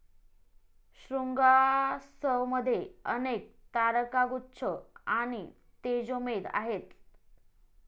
शृंगासवमध्ये अनेक तारकागुच्छ आणि तेजोमेध आहेत.